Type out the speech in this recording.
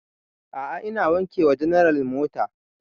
A'a ina wanke wa general mota